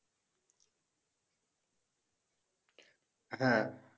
হ্যাঁ